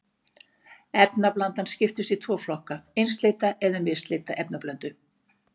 Efnablanda skiptist í tvo flokka, einsleita eða misleita efnablöndu.